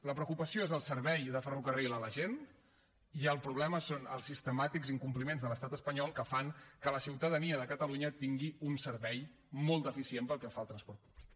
la preocupació és el servei de ferrocarril a la gent i el problema són els sistemàtics incompliments de l’estat espanyol que fan que la ciutadania de catalunya tingui un servei molt deficient pel que fa al transport públic